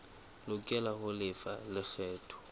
lokela ho lefa lekgetho la